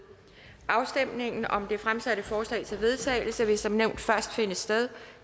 afstemningen om de fremsatte forslag til vedtagelse vil som nævnt først finde sted